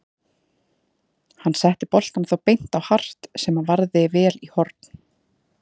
Hann setti boltann þó beint á Hart sem varði vel í horn.